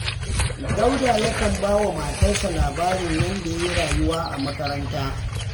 Dauda yakan ba wa matarsa labarin yadda ya yi rayuwa a makaranta